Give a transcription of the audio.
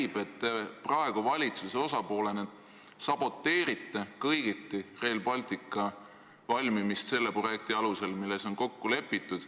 Igatahes näib, et te praegu valitsuse osapoolena saboteerite kõigiti Rail Balticu ehitamist selle projekti alusel, milles on kokku lepitud.